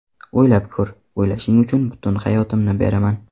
O‘ylab ko‘r, o‘ylashing uchun butun hayotimni beraman”.